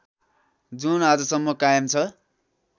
जुन आजसम्म कायम छ